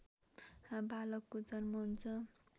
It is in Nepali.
बालकको जन्म हुन्छ